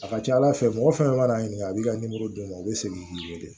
A ka ca ala fɛ mɔgɔ fɛn fɛn mana ɲininka a b'i ka d'u ma u be segin k'i wele